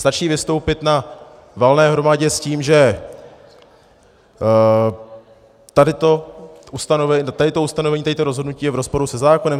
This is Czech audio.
Stačí vystoupit na valné hromadě s tím, že tady to ustanovení, tady to rozhodnutí je v rozporu se zákonem?